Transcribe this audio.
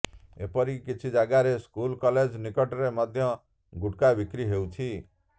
ଏପରିକି କିଛି ଯାଗାରେ ସ୍କୁଲ କଲେଜ ନିକଟରେ ମଧ୍ୟ ଗୁଟ୍ଖା ବିକ୍ରି ହେଉଛି